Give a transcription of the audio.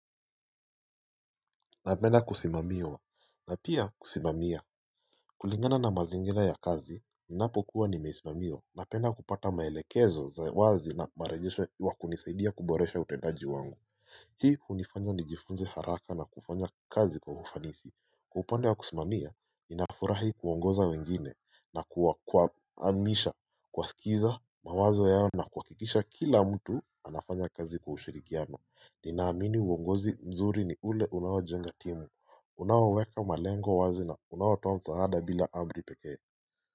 Napenda kusimamiwa na pia kusimamia kulingana na mazingira ya kazi ninapo kuwa nimeisimamiwa. Napenda kupata maelekezo za wazi na marejishwa wakunisaidia kuboresha utendaji wangu Hii hunifanya nijifunze haraka na kufanya kazi kwa ufanisi upande wa kusimamia ninafurahi kuongoza wengine na kuwa amrisha kwa skiza mawazo yao na kuhakikisha kila mtu anafanya kazi kwa ushirikiano Nina amini uongozi mzuri ni ule unaojenga timu, unaoweka malengo wazi na unaotoa maeleza msaada bila amri pekee.